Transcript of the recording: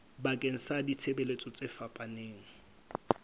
bakeng sa ditshebeletso tse fapaneng